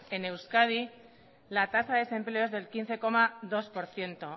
en euskadi la tasa de desempleo es del quince coma dos por ciento